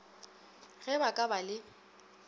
ge ba ka ba le